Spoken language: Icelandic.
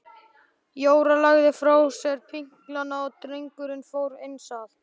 Jóra lagði frá sér pinklana og drengurinn fór eins að.